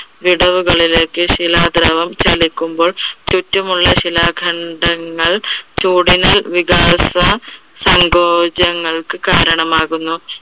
വിടവുകളിലേക്ക് ശിലാധ്രുവം ചലിക്കുമ്പോൾ ചുറ്റുമുള്ള ശിലാഖണ്ഡങ്ങൾ ചൂടിനാൽ വികാസസങ്കോചങ്ങൾക്ക് കാരണമാകുന്നു.